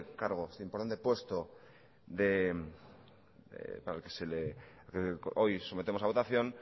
cargo este importante puesto para el que hoy sometemos a votación